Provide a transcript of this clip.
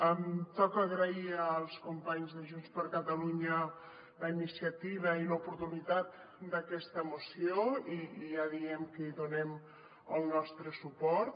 em toca agrair als companys de junts per catalunya la iniciativa i l’oportunitat d’aquesta moció i ja diem que hi donem el nostre suport